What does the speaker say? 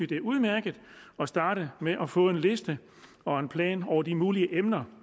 det er udmærket at starte med at få en liste og en plan over de mulige emner